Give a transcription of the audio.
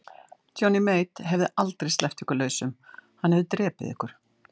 Johnny Mate hefði aldrei sleppt ykkur lausum, hann hefði drepið ykkur.